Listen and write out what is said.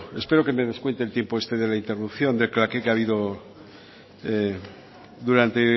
espero que me descuente el tiempo este de la interrupción de claqué que ha habido durante